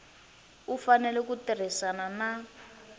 u fanele ku tirhisana na